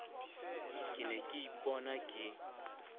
ke ne ke ipona ke